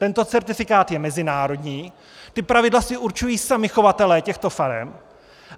Tento certifikát je mezinárodní, ta pravidla si určují sami chovatelé těchto farem.